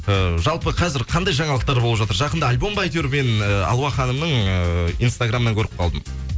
э жалпы қазір қандай жаңалықтар болып жатыр жақында альбом ба айтеуір мен э алуа ханымның эээ инстаграмынан көріп қалдым